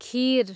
खिर